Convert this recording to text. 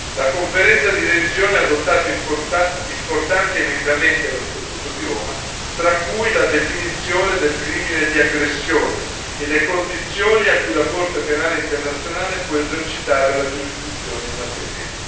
La Conferenza di revisione ha adottato importanti emendamenti dello Statuto di Roma, tra cui la definizione del crimine di aggressione e le condizioni a cui la Corte penale internazionale può esercitare la giurisdizione in materia.